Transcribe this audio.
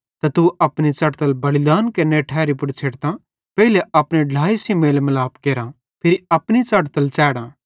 त तू अपनी च़ढ़तल बलिदान च़ाढ़नेरी ठैरी पुड़ छ़ेडतां पेइले अपने ढ्लाए सेइं मेलमलाप केरां फिरी अपनी च़ढ़तल च़ैढ़ां